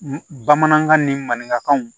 Bamanankan ni maninkaw